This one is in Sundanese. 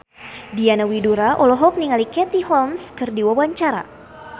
Diana Widoera olohok ningali Katie Holmes keur diwawancara